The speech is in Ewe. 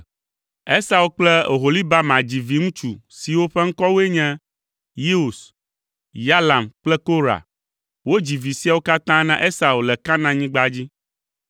Esau kple Oholibama dzi viŋutsu siwo ƒe ŋkɔwoe nye Yeus, Yalam kple Korah. Wodzi vi siawo katã na Esau le Kanaanyigba dzi.